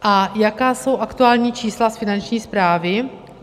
A jaká jsou aktuální čísla z Finanční správy?